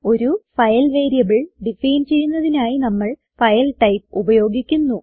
ഒരു file variable define ചെയ്യുന്നതിനായി നമ്മൾ ഫൈൽ ടൈപ്പ് ഉപയോഗിക്കുന്നു